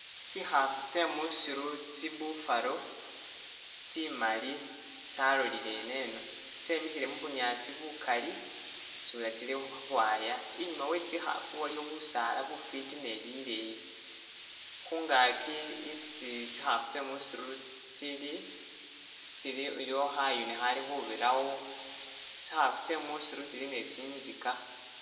Tsikhaafu tsye musiru tsi buffalo tsimali tsalolile ineno. Tsyemikhile mu bunyaasi bukali isubila tsili khukhwaya. Inyuuma we tsikhaafu waliyo busaala bufiti ne bileyi, khungaki isi tsikhaafu tsye musiru tsili, iliwo khayuni khali khubirawo, tsikhaafu tsye musiru tsili ne tsinzika.